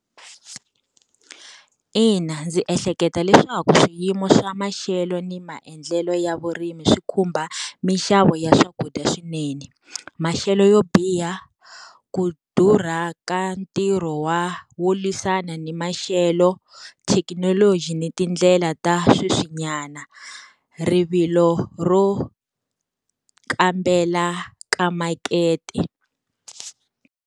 Ina ndzi ehleketa leswaku swiyimo swa maxelo ni maendlelo ya vurimi swi khumba minxavo ya swakudya swinene. Maxelo yo biha, ku durha ka ntirho wa wo lwisana ni maxelo thekinoloji ni tindlela ta sweswinyana, rivilo ro kambela ka makete.